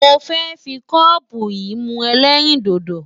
Mo fẹ́ fi kọ́ọ̀bù yìí mu ẹlẹ́rìndòdò.